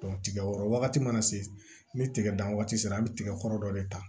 tigɛ kɔrɔ wagati mana se ni tigɛ dan waati sera an bɛ tigɛ kɔrɔ dɔ de ta